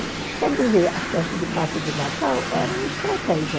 Quer dizer, a festa de Páscoa e de Natal era uma estratégia.